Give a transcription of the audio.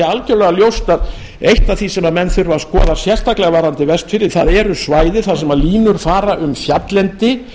algjörlega ljóst að eitt af því sem menn þurfa að skoða sérstaklega varðandi vestfirði það eru svæði þar sem línur fara um fjalllendi